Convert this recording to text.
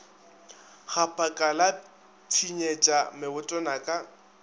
gaphaka la pshinyetša mebotwana ka